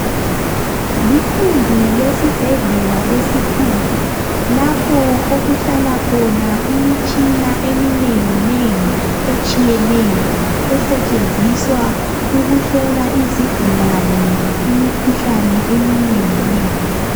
Likhumbi lesibhedlela esikhulu Lapho okuhlala khona imitshina eminenginengi etshiyeneyo esetshenziswa ukuhlola izigulane imikhuhlane eminenginengi